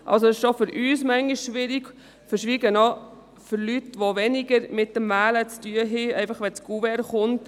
Schon nur für uns ist es manchmal schwierig, geschweige denn für Leute, die weniger mit Wahlen zu tun haben, sondern einfach dann, wenn das Kuvert kommt.